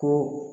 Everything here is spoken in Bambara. Ko